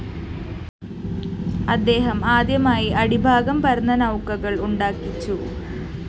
അദ്ദേഹം ആദ്യമായി അടിഭാഗം പരന്ന നൗകകള്‍ ഉണ്ടാക്കിച്ചു